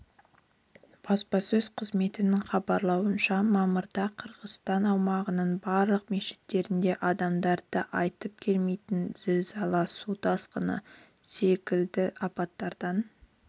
баспасөз қызметінің хабарлауынша мамырда қырғызстан аумағының барлық мешіттерінде адамдарды айтып келмейтін зілзала су тасқыны секілді апаттардан